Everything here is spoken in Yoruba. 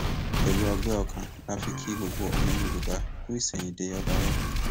pẹlú ọgbẹ ọkàn la fi kí gbogbo ọmọ yorùbá kú ìsẹyìndẹ ọba wa